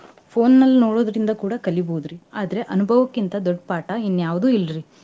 Phone ನಲ್ಲಿ ನೋಡೋದ್ರಿಂದ ಕೂಡಾ ಕಲೀಬೋದ್ರಿ ಆದ್ರೆ ಅನುಭವಕ್ಕಿಂತ ದೊಡ್ಡ ಪಾಠಾ ಇನ್ಯಾವುದು ಇಲ್ರಿ.